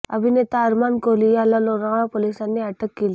अभिनेता अरमान कोहली याला लोणावळा पोलिसांनी अटक केलीय